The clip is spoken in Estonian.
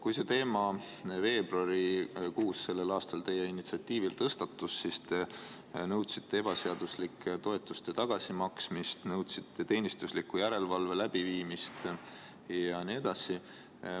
Kui see teema selle aasta veebruarikuus teie initsiatiivil tõstatus, siis te nõudsite ebaseaduslike toetuste tagasimaksmist, nõudsite teenistusliku järelevalve läbiviimist ja nii edasi.